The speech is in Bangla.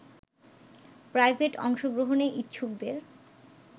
প্রাইভেট অংশগ্রহণে ইচ্ছুকদের